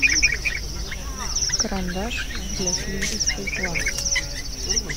карандаш для слизистой глаз